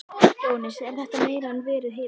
Jóhannes: Er þetta meira en verið hefur?